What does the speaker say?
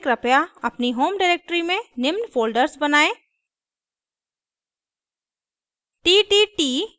शुरू करने से पहले कृपया अपनी होम डायरेक्टरी में निम्न फ़ोल्डर्स बनायें